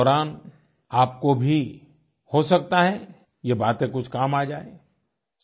lockdown के दौरान आपको भी हो सकता है ये बातें कुछ काम आ जाए